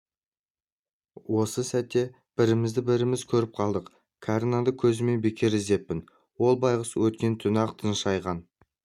осы сәтте бірімізді біріміз көріп қалдық кәрі нанды көзіммен бекер іздеппін ол байғұс өткен түні-ақ тыншайған